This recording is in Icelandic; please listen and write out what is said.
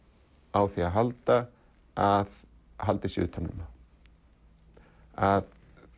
á því að halda að haldið sé utan um þá að